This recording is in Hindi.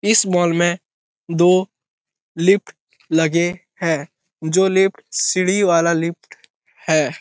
इस मॉल में दो लिफ्ट लगे हैं जो लिफ्ट सीढ़ी वाला लिफ्ट है ।